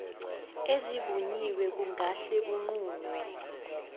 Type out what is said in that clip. ezivunyiwe ekungahle kunqunywe